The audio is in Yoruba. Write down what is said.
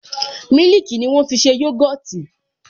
Mílìkì ni wọ́n fi ṣe yogọtì